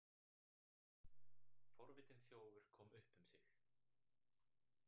Forvitinn þjófur kom upp um sig